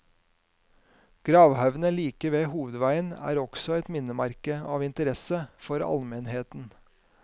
Gravhaugene like ved hovedveien er også et minnesmerke av interesse for allmennheten.